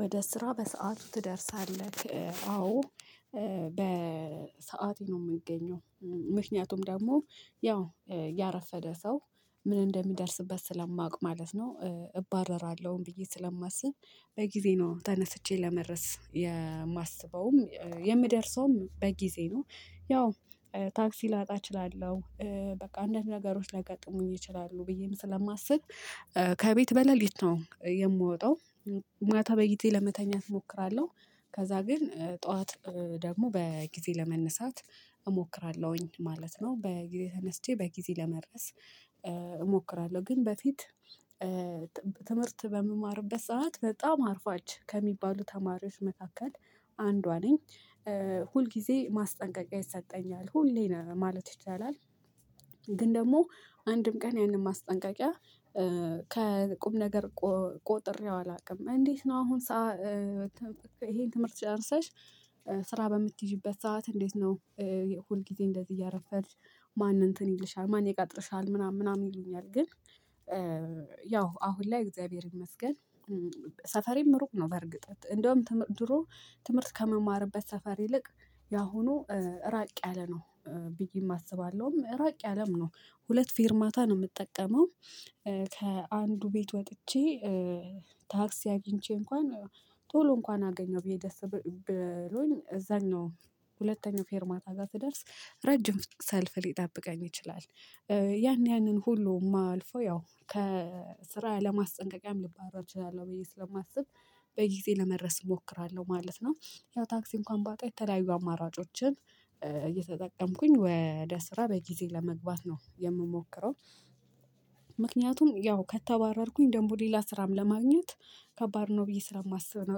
ወደ ስራ በሰአቱ ትደርሳለህ? አዎ በሰአቴ ነው የምገኘው። ምክንያቱም ደግሞ ያው ያረፈደ ሰው ምን እንደሚደርስበት ስለማውቅ ማለት ነው እባረራለሁኝ ብዬ ስለማስብ። በጊዜ ነው ተነስቼ ለመድረስ የማስበውም የምደርሰውም በጊዜ ነው። ያው ታክሲ ላጣ እችላለሁ። በቃ አንድ ነገሮች ሊያጋጥሙኝ ይችላሉ ብዬም ስለማስብ። ከቤት በሌሊት ነው የምወጣው። ማታ በጊዜ ለመተኛት እሞክራለሁ ከዛ ግን ጠዋት ደግሞ በጊዜ ለመነሳት እሞክራለሁኝ ማለት ነው። በጊዜ ተነስቼ በጊዜ ለመድረስ እሞክራለሁ። ግን በፊት ትምህርት በምማርበት ሰዓት በጣም አርፋጅ ከሚባሉ ተማሪዎች መካከል አንዷ ነኝ። ሁል ጊዜ ማስጠንቀቂያ ይሰጠኛል ሁሌም ማለት ይቻላል። ግን ደግሞ አንድም ቀን ያንን ማስጠንቀቂያ ከቁም ነገር ቆጥሬው አላውቅም። እንዴት ነው? አሁን ሰዓት ይሄን ትምህርት ጨርሰሽ ስራ በምትይዢበት ሰዓት እንዴት ነው? ሁል ጊዜ እንደዚህ እያረፈድሽ ማን እንትን ይልሻል ማን ይቀጥርሻል ምናምን ምናምን ይሉኛል። ግን ያው አሁን ላይ እግዚአብሔር ይመስገን። ሰፈሬም እሩቅ ነው በእርግጠ እንደውም ድሮ ትምህርት ከመማርበት ሰፈር ይልቅ ያሁኑ ራቅ ያለ ነው። ብየም አስባለሁም ራቅ ያለም ነው ሁለት ፌርማታ ነው የምጠቀመው። ከአንዱ ቤት ወጥቼ ታክሲ አግኝቼ እንኳን ቶሎ እንኳን አገኘው ብዬ ደስ ብሎኝ እዛኛው ሁለተኛው ፌርማታ ጋር ስደርስ ረጅም ሰልፍ ሊጠብቀኝ ይችላል። ያን ያንን ሁሉ የማልፈው ያው ከስራ ለማስጠንቀቂያም ልባረር እችላለሁ ብዬ ስለማስብ በጊዜ ለመድረስ እሞክራለሁ ማለት ነው። ያው ታክሲ እንኳን ባጣ የተለያዩ አማራጮችን እየተጠቀምኩኝ ወደ ስራ በጊዜ ለመግባት ነው የምሞክረው። ምክንያቱም ያው ከተባረርኩኝ ደግሞ ሌላ ስራም ለማግኘት ከባድ ነው ብዬ ስራ የማስብ ነው።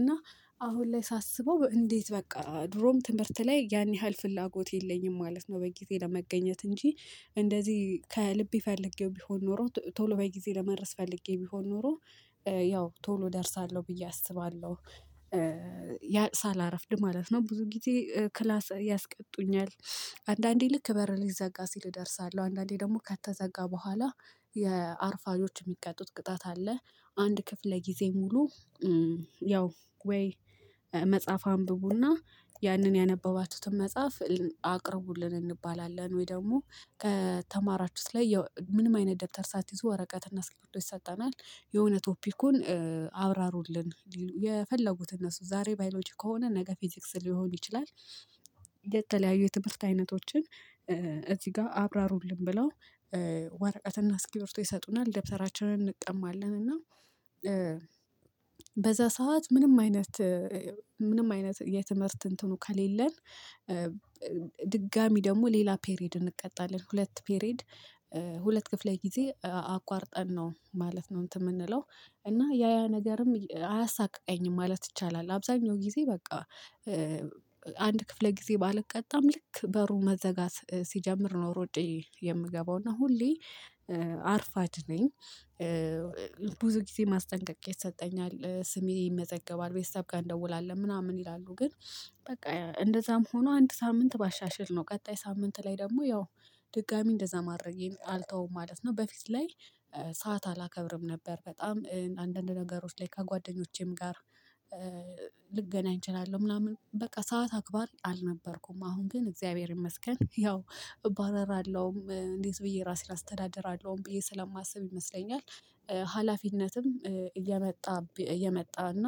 እና አሁን ላይ ሳስበው እንዴት በቃ ድሮም ትምህርት ላይ ያን ያህል ፍላጎት የለኝም ማለት ነው። በጊዜ ለመገኘት እንጂ እንደዚህ ከልቤ ፈልጌው ቢሆን ኖሮ ቶሎ በጊዜ ለመድረስ ፈልጌ ቢሆን ኖሮ ያው ቶሎ እደርሳለሁ ብዬ አስባለሁ። ያ ሳላርፍድ ማለት ነው ብዙ ጊዜ ክላስ ያስቀጡኛል። አንዳንዴ ልክ በር ሊዘጋ ሲል እደርሳለሁ አንዳንዴ ደግሞ ከተዘጋ በኋላ የአርፋጆች የሚቀጡት ቅጣት አለ። አንድ ክፍል ለጊዜ ሙሉ ያው ወይ መጽሐፍ አንብቡና ያንን ያነበባችሁትን መጽሐፍ አቅርቡልን እንባላለን ወይ ደግሞ ከተማራችሁት ላይ ያው ምንም አይነት ደብተር ሳትይዙ ወረቀትና እስክርቢቶ ይሰጠናል የሆነ ቶፒኩን አብራሩልን የፈለጉትን እነሱ ዛሬ ባዮሎጂ ከሆነ ነገ ፊዚክስ ሊሆን ይችላል። የተለያዩ የትምህርት አይነቶችን እዚህ ጋር አብራሩልን ብለው። ወረቀትና እስክርቢቶ ይሰጡናል ደብተራችንን እንቀማለን እና። በዛ ሰዓት ምንም አይነት ምንም አይነት የትምህርት እንትኑ ከሌለን። ድጋሚ ደግሞ ሌላ ፔሬድ እንቀጣለን ሁለት ፔሬድ ሁለት ክፍለ ጊዜ አቋርጠን ነው ማለት ነው እንትን የምንለው። እና ያ ያ ነገርም አያሳቅቀኝም ማለት ይቻላል አብዛኛው ጊዜ በቃ። አንድ ክፍለ ጊዜ ባልቀጣም ልክ በሩ መዘጋት ሲጀምር ነው ሮጬ የምገባው እና ሁሌ አርፋጅ ነኝ። ብዙ ጊዜ ማስጠንቀቂያ ይሰጠኛል ስሜ ይመዘገባል ቤተሰብ ጋር እንደውላለን ምናምን ይላሉ ግን። በቃ እንደዛም ሆኖ አንድ ሳምንት ባሻሽል ነው ቀጣይ ሳምንት ላይ ደግሞ ያው ድጋሚ እንደዛ ማድረጌን አልተውም ማለት ነው። በፊት ላይ ሰዓት አላከብርም ነበር በጣም አንዳንድ ነገሮች ላይ ከጓደኞቼም ጋር። ልገናኝ እችላለሁ ምናምን በቃ ሰዓት አክባር አልነበርኩም አሁን ግን እግዚአብሔር ይመስገን ያው እባረራለሁም እንዴት ብዬ ራሴን አስተዳድራለሁም ብዬ ስለማስብ ይመስለኛል። ሀላፊነትም እየመጣ እየመጣ እና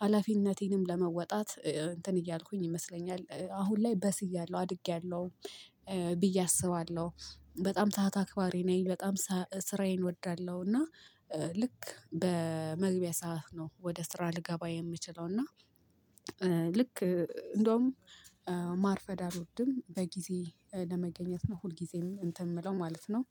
ሀላፊነቴንም ለመወጣት እንትን እያልኩኝ ይመስለኛል አሁን ላይ በስያለሁ አድጌያለሁ። ብዬ አስባለሁ። በጣም ሰዓት አክባሪ ነኝ በጣም ስራዬን እወዳለሁ እና። ልክ በመግቢያ ሰዓት ነው ወደ ስራ ልገባ የምችለው እና። ልክ እንደውም ማርፈድ አልወድም በጊዜ ለመገኘት ነው ሁልጊዜም እንትን የምለው ማለት ነው